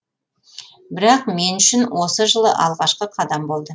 бірақ мен үшін осы жылы алғашқы қадам болды